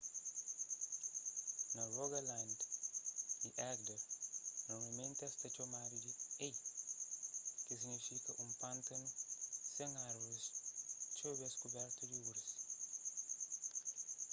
na rogaland y agder normalmenti es ta txomadu di hei ki signifika un pântanu sen árvoris txeu bês kubertu di urze